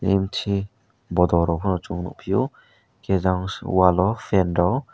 empty bottle rok phano chung nukphio khe jang wall o fan rok.